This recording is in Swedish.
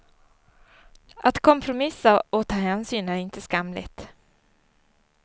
Att kompromissa och ta hänsyn är inte skamligt.